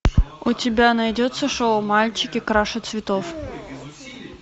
у тебя найдется шоу мальчики краше цветов